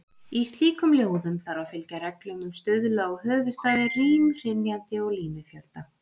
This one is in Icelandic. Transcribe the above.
Í slíkum ljóðum þarf að fylgja reglum um stuðla og höfuðstafi, rím, hrynjandi og línufjölda.